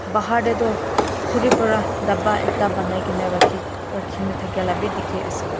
Bahar te tu khori para dapba ekta bonai kina rakhi kina thaki laga bhi dekhi ase.